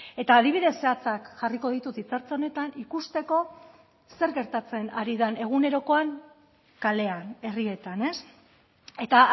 eta adibide zehatzak jarriko ditut hitza hartze honetan ikusteko zer gertatzen ari den egunerokoan kalean herrietan eta